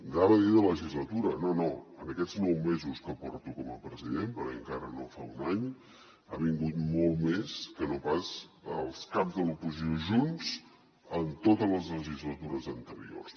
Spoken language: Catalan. anava a dir de legislatura no no en aquests nou mesos que porto com a president perquè encara no fa un any ha vingut molt més que no pas els caps de l’oposició junts en totes les legislatures anteriors